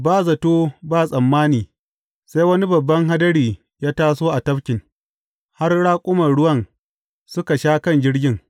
Ba zato ba tsammani, sai wani babban hadari ya taso a tafkin, har raƙuman ruwan suka sha kan jirgin.